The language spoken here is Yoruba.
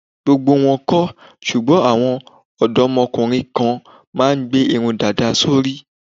Gbogbo wọn kọ́, ṣùgbọ́n àwọn òdọ́mọkùnrin kan ma ń gbé irun dàda sórí.